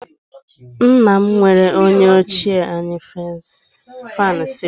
Nna m nwere onye ochie anyị fan celling